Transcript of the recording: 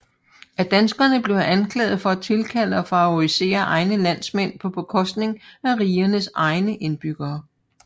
Af danskerne blev han anklaget for at tilkalde og favorisere egne landsmænd på bekostning af rigernes egne indbyggere